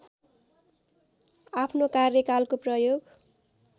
आफ्नो कार्यकालको प्रयोग